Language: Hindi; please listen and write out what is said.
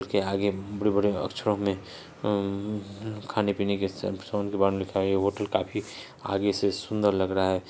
आगे बड़े -बड़े अक्षरों में खाने पीने के बारे में दिखाई होटल काफी आगे से सुंदर लग रहा है।